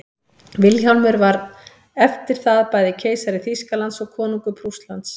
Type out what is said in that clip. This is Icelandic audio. vilhjálmur var eftir það bæði keisari þýskalands og konungur prússlands